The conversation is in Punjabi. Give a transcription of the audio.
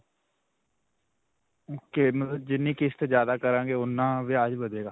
ok. ਮਤਲਬ ਜਿੰਨੀ ਕਿਸ਼ਤ ਜਿਆਦਾ ਕਰਾਗੇਂ ਓਨਾ ਵਿਆਜ ਵਧੇਗਾ.